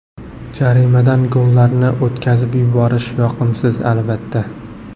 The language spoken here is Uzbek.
Jarimadan gollarni o‘tkazib yuborish yoqimsiz, albatta.